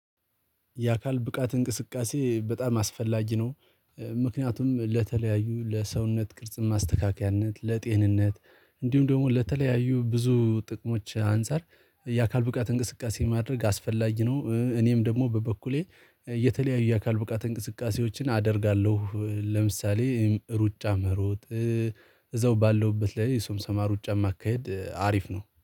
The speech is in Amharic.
የአካል ብቃት እንቅስቃሴ በጣም አስፈላጊ ነው። ምክንያቱም ለተለያዩ ለሰውነት ቅርጽ ማስተካከያነት ለጤንነት እንዲሁም ደግሞ ለተለያዩ ብዙ ጥቅሞች አንፃር የአካል ብቃት እንቅስቃሴ ማድረግ አስፈላጊ ነው። እኔም ደግሞ በበኩሌ የተለያዩ የአካል ብቃት እንቅስቃሴዎችን አደርጋለሁ ለምሳሌ ሩጫ መሮጥ። እዛው ባለሁበት ላይ የሶም ሶማ ሩጫ ማካሄድ አሪፍ ነው